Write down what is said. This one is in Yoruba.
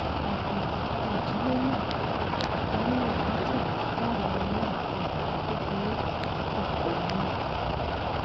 àkáǹtì tí ìdílé náà jọ ń lò látìgbà táwọn ọmọ náà ti wà ní kékeré pò ganan